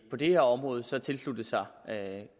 her område så tilsluttet sig